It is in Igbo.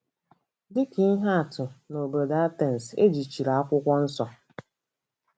Dị ka ihe atụ, n'obodo Atens, e jichiri Akwụkwọ Nsọ.